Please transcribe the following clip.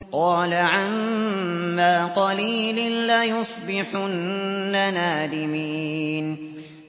قَالَ عَمَّا قَلِيلٍ لَّيُصْبِحُنَّ نَادِمِينَ